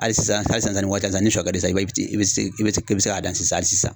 Hali sisan hali sisan sisan ni waati la sisan ni shɔ ka d'i ye sisan i bɛ se i bɛ i bɛ se k'a dan sisan.